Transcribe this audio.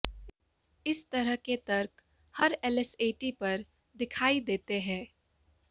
इस तरह के तर्क हर एलएसएटी पर दिखाई देते हैं